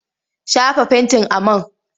Shafa fentin a man!